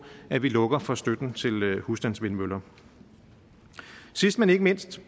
at vi lukker for støtten til husstandsvindmøller sidst men ikke mindst